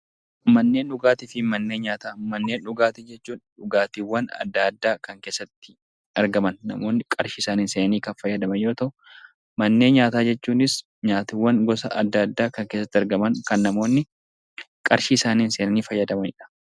Manneen dhugaatii jechuun dhugaatiiwwan adda addaa kan keessatti argaman namoonni qarshii isaaniin seenanii kan fayyadaman yoo ta'u, manneen nyaataa jechuunis nyaatni gosa adda addaa kan keessatti argaman kan namoonni qarshii isaaniin seenanii fayyadamanidha